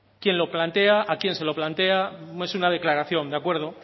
quién lo plantea a quién se lo plantea es una declaración de acuerdo